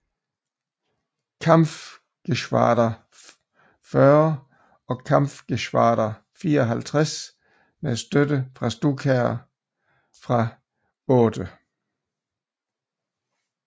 Kampfgeschwader 40 og Kampfgeschwader 54 med støtte fra Stukaer fra VIII